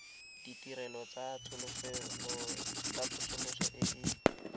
ditirelo tsa tsosoloso e e